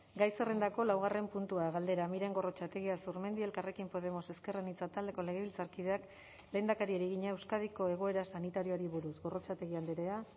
gai zerrendako laugarren puntua galdera miren gorrotxategi azurmendi elkarrekin podemos ezker anitza taldeko legebiltzarkideak lehendakariari egina euskadiko egoera sanitarioari buruz gorrotxategi andrea